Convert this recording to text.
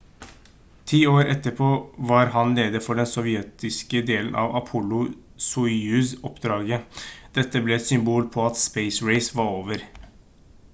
10 år etterpå var han leder for den sovjetiske delen av apollo-soyuz-oppdraget dette ble et symbol på at space race var over